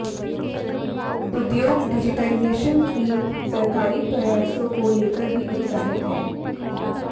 उद्योग डिजिटाइजेशन के सरकारी प्रयासों को लेकर भी उत्साहित है